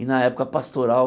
E na época pastoral,